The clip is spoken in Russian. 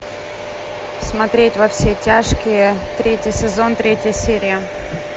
смотреть во все тяжкие третий сезон третья серия